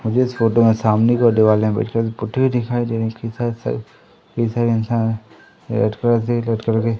मुझे इस फोटो में सामने कि ओर दीवाले व्हाइट कलर से पुती हुई है।